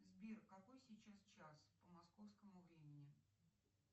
сбер какой сейчас час по московскому времени